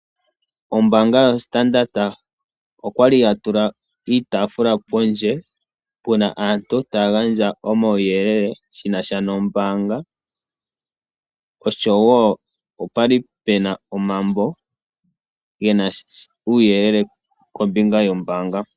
Ombanga yoStandard okwali ya tula iitafula pondje puna aantu taya gandja omawuuyelele shinasha nombanga osho woo opwali pena omambo gena uuyelele kombinga yombaanga.